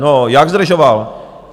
No, jak zdržoval?